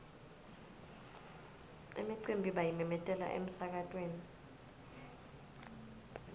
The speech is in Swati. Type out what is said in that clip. imicimbi bayimemetela emsakatweni